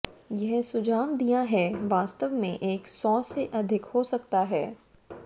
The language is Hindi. यह सुझाव दिया है वास्तव में एक सौ से अधिक हो सकता है